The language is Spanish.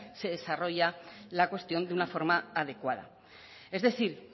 se desarrolla la cuestión de una forma adecuada es decir